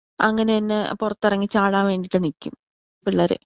അങ്ങനെ നെ പുറത്തിറങ്ങി ചാടാൻ വേണ്ടീട്ട് നിക്കും പിള്ളേർ.